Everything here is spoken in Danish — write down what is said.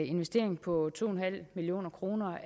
investering på to en halv million kroner